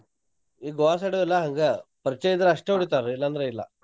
ಈ ಗೋವಾ side ಎಲ್ಲಾ ಹಂಗ ಪರ್ಚ್ಯ ಇದ್ರ ಅಸ್ಟ್ ಹೊಡೀತಾರ್ ಇಲಂದ್ರ್ ಇಲ್ಲಾ.